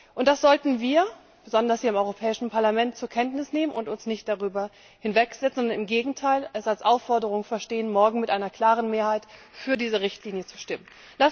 Und das sollten wir besonders hier im Europäischen Parlament zur Kenntnis nehmen und uns nicht darüber hinwegsetzen, sondern es im Gegenteil als Aufforderung verstehen, morgen mit einer klaren Mehrheit für diese Richtlinie zu stimmen.